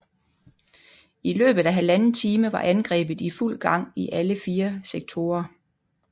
I løbet af 1½ time var angrebet i fuld gang i alle fire sektorer